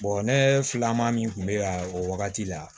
ne filanan min kun bɛ yan o wagati la